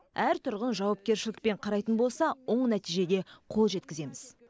әр тұрғын жауапкершілікпен қарайтын болса оң нәтижеге қол жеткіземіз